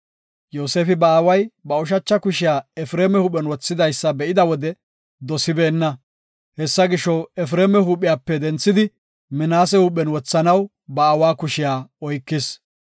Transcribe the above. Yoosefi ba aaway ba ushacha kushiya Efreema huuphen wothidaysa be7ida wode dosibeenna. Hessa gisho, Efreema huuphiyape denthidi, Minaase huuphen wothanaw ba aawa kushiya oykis.